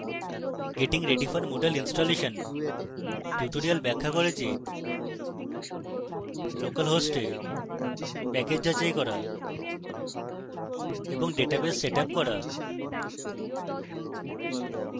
getting ready for moodle installation tutorial ব্যাখ্যা করে যে localhost প্যাকেজ যাচাই করা এবং ডাটাবেস setup করা